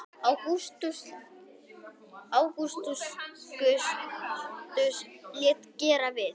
Ágústus lét gera við